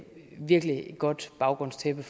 virkelig godt baggrundstæppe